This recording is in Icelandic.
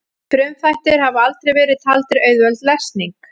frumþættir hafa aldrei verið taldir auðveld lesning